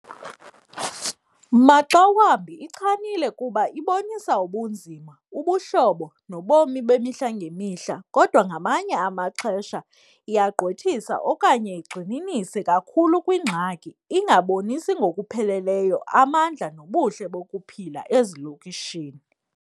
Maxa wambi ichanile kuba ibonisa ubunzima, ubuhlobo, nobomi bemihla ngemihla kodwa ngamanye amaxesha iyagqwethisa okanye igxininise kakhulu kwiingxaki ingabonisi ngokupheleleyo amandla nobuhle bokuphila ezilokishini.